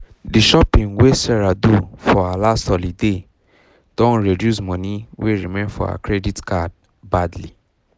the shopping wey sarah do for her last holiday don reduce money wey remain for her credit card badly